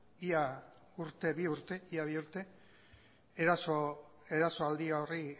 ia bi urte erasoaldi horri